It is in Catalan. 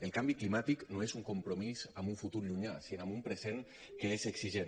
el canvi climàtic no és un compromís amb un futur llunyà sinó amb un present que és exigent